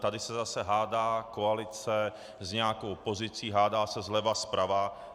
Tady se zase hádá koalice s nějakou opozicí, hádá se zleva, zprava.